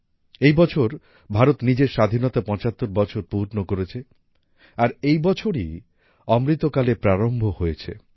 এই বছর ভারত নিজের স্বাধীনতার পঁচাত্তর বছর পূর্ণ করেছে আর এই বছরই অমৃতকালের প্রারম্ভ হয়েছে